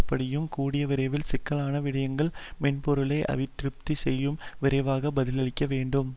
படியும் கூடிய விரைவில் சிக்கலான விடயங்கல் மென்பெருளை அபிவிருத்தி செய்பவர்கள் விரைவாக பதிலளிக்கவேண்டும்